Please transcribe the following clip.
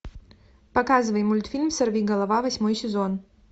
показывай мультфильм сорвиголова восьмой сезон